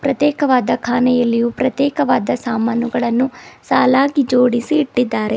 ಪ್ರತೇಕವಾದ ಕಾನೆಯಲ್ಲಿಯು ಪ್ರತೇಕವಾದ ಸಾಮಾನುಗಳನ್ನೂ ಸಾಲಾಗಿ ಜೋಡಿಸಿ ಇಟ್ಟಿದ್ದಾರೆ.